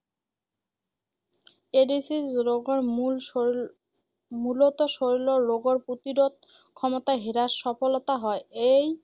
AIDS ৰোগৰ মূল শৰীৰ মূলতঃ শৰীৰৰ ৰোগৰ প্ৰতিৰোধ ক্ষমতা হ্ৰাসৰ ফলতেই হয় এই